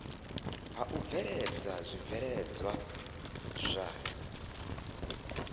ha u bveledza zwibveledzwa zwa